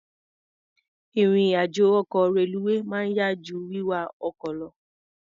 Ìrìn-àjọ ọkọ̀ reluwé máa ń yá jú wíwa ọkọ̀ lọ.